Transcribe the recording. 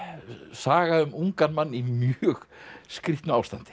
saga um ungan mann í mjög skrýtnu ástandi